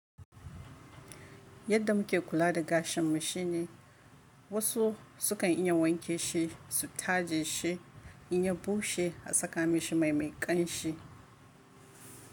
Yadda muke kula da gashin mu shine wasu sukan iya wanke shi, su taje shi, in ya bushe a saka mashi mai mai ƙanshi.